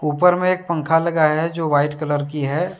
ऊपर में एक पंख लगाया हैजो वाइट कलर की है।